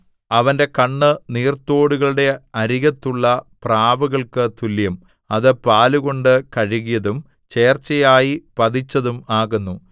അവന്റെ കണ്ണ് നീർത്തോടുകളുടെ അരികത്തുള്ള പ്രാവുകൾക്ക് തുല്യം അത് പാലുകൊണ്ട് കഴുകിയതും ചേർച്ചയായി പതിച്ചതും ആകുന്നു